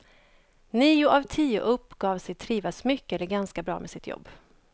Nio av tio uppgav sig trivas mycket eller ganska bra med sitt jobb.